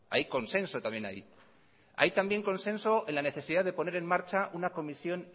hay consenso también ahí hay también consenso en la necesidad de poner en marcha una comisión